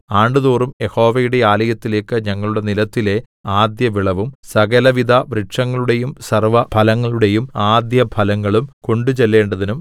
ആണ്ടുതോറും യഹോവയുടെ ആലയത്തിലേയ്ക്ക് ഞങ്ങളുടെ നിലത്തിലെ ആദ്യവിളവും സകലവിധവൃക്ഷങ്ങളുടെയും സർവ്വഫലങ്ങളുടേയും ആദ്യഫലങ്ങളും കൊണ്ടുചെല്ലേണ്ടതിനും